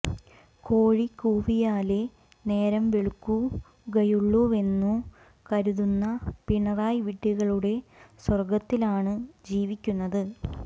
കോഴി കൂവിയാലേ നേരം വെളുക്കുകയുള്ളൂവെന്നു കരുതുന്ന പിണറായി വിഡ്ഢികളുടെ സ്വർഗ്ഗത്തിലാണ് ജീവിക്കുന്നത്